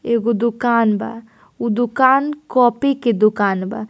एगो दुकान बा ऊ दुकान कॉपी के दुकान बा।